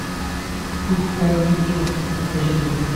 путь карлито покажи мне